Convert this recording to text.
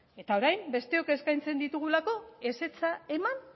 eta orain besteok eskaintzen ditugulako ezetza eman